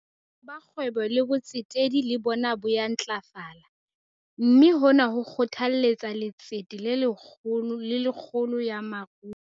Boitshepo ba kgwebo le botsetedi le bona bo ya ntlafala, mme hona ho kgothalletsa letsete le kgolo ya moruo.